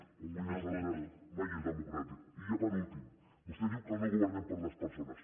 i quan guanyen els altres mai és democràtic i ja per últim vostè diu que no governem per les persones